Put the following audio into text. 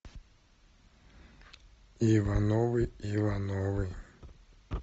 ивановы ивановы